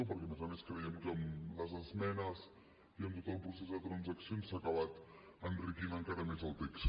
perquè a més a més creiem que amb les esmenes i amb tot el procés de transaccions s’ha acabat enriquint encara més el text